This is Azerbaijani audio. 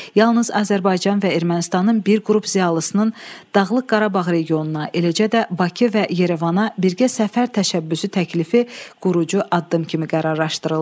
Yalnız Azərbaycan və Ermənistanın bir qrup ziyalısının Dağlıq Qarabağ regionuna, eləcə də Bakı və Yerevana birgə səfər təşəbbüsü təklifi qurucu addım kimi qərarlaşdırıldı.